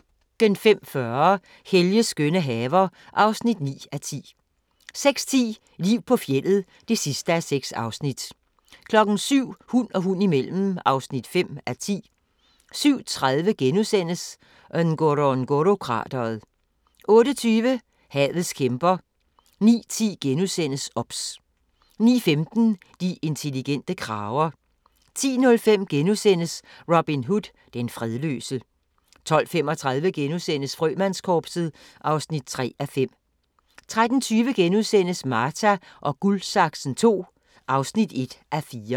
05:40: Helges skønne haver (9:10) 06:10: Liv på fjeldet (6:6) 07:00: Hund og hund imellem (5:10) 07:30: Ngorongoro-krateret * 08:20: Havets kæmper 09:10: OBS * 09:15: De intelligente krager 10:05: Robin Hood – Den fredløse * 12:35: Frømandskorpset (3:5)* 13:20: Marta & Guldsaksen II (1:4)*